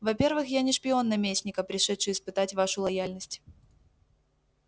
во-первых я не шпион наместника пришедший испытать вашу лояльность